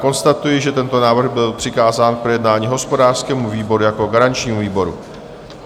Konstatuji, že tento návrh byl přikázán k projednání hospodářskému výboru jako garančnímu výboru.